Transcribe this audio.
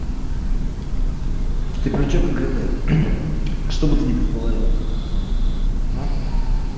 ты про что конкретно чтобы ты не предположил а